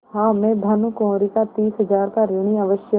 हाँ मैं भानुकुँवरि का तीस हजार का ऋणी अवश्य हूँ